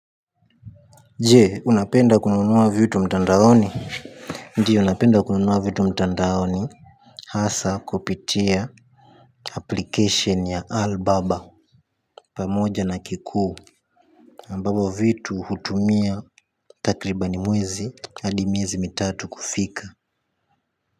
Jee, unapenda kununua vitu mtandaoni? Ndio napenda kununua vitu mtandaoni. Hasa, kupitia, Application ya albaba pamoja na kikuu ambavyo vitu hutumia, takribani mwezi adi miezi mitatu, kufika.